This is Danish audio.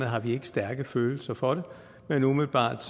har vi ikke stærke følelser for det men umiddelbart